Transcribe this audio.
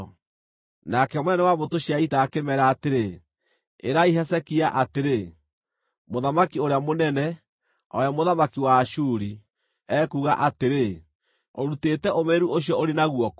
Nake mũnene wa mbũtũ cia ita akĩmeera atĩrĩ, “Ĩrai Hezekia atĩrĩ: “ ‘Mũthamaki ũrĩa mũnene, o we mũthamaki wa Ashuri, ekuuga atĩrĩ: Ũrutĩte ũmĩrĩru ũcio ũrĩ naguo kũ?